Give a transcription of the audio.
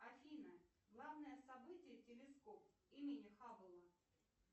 афина главное событие телескоп имени хаббла